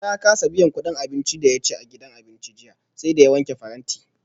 Musa ya kasa biyan kudin abincin da ya ci a gidan abincin jiya, sai da ya wanke faranti